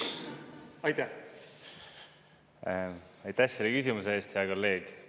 Aitäh selle küsimuse eest, hea kolleeg!